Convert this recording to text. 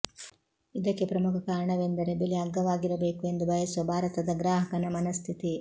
ಇದಕ್ಕೆ ಪ್ರಮುಖ ಕಾರಣವೆಂದರೆ ಬೆಲೆ ಅಗ್ಗವಾಗಿರಬೇಕು ಎಂದು ಬಯಸುವ ಭಾರತದ ಗ್ರಾಹಕನ ಮನಃಸ್ಥಿತಿ